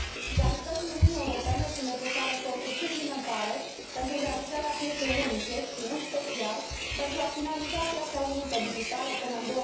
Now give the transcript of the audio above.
La nivelul Uniunii Europene sunt necesare eforturi suplimentare pentru realizarea pieței unice și în special pentru a finaliza piața unică digitală până în